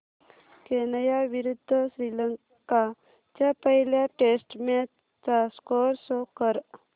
Kenya विरुद्ध श्रीलंका च्या पहिल्या टेस्ट मॅच चा स्कोअर शो कर